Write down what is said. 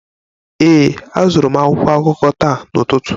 Ee, azụrụ m akwụkwọ akụkọ taa n'ụtụtụ